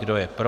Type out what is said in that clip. Kdo je pro?